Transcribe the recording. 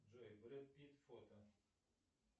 джой брэд питт фото